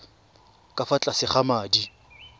ka fa tlase ga madi